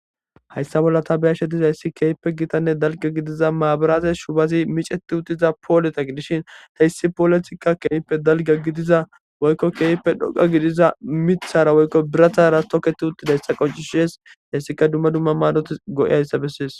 Hayssa bolla tabeyashe diza hyssi keeyppe gitanne dalga gidiza maabaraaze shubazi miceti uttiza pooleta gidishin ta issi pooletikka keeppe dalga gidiza woykko keeyppe dhoga gidiza mithara woykko birathara toketi uttidayssa qoncishees hessika dumma dumma maadoti go7i hayssa bessees